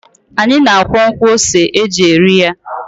Anyị na-akwọ nkwọ ose e ji eri ya.